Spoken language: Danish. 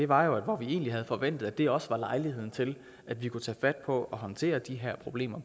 var jo at hvor vi egentlig havde forventet at det også var lejligheden til at vi kunne tage fat på at håndtere de problemer